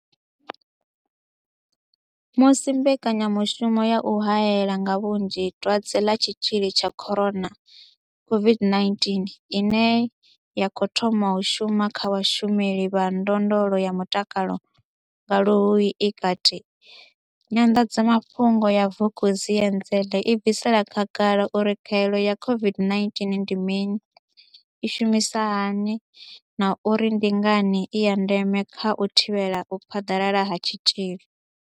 Musi mbekanya mushumo ya u hae la nga vhunzhi Dwadze ḽa Tshitzhili tsha corona COVID-19 ine ya khou thoma u shuma kha vhashumeli vha ndondolo ya mutakalo nga Luhuhi i kati, Nyanḓadza mafhungo ya Vukuenzele i bvisela khagala uri khaelo ya COVID-19 ndi mini, i shumisa hani na uri ndi ngani i ya ndeme kha u thivhela u phaḓalala ha tshitzhili.